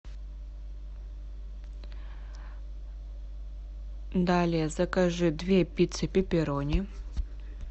далее закажи две пиццы пепперони